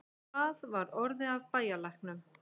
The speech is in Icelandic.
Hvað var orðið af bæjarlæknum?